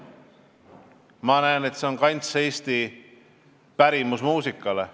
Ma näen, et see on eesti pärimusmuusika kants.